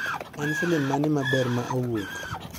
En filim mane maber ma owuok